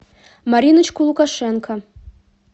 мариночку лукашенко